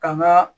Ka n ga